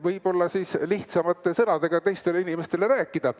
Võib-olla saab siis lihtsamate sõnadega teistele inimestele seda rääkida.